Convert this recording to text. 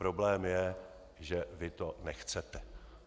Problém je, že vy to nechcete.